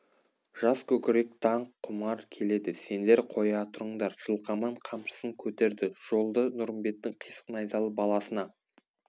жас көкірек даңқ құмар келеді сендер қоя тұрыңдар жылқаман қамшысын көтерді жолды нұрымбеттің қисық найзалы баласына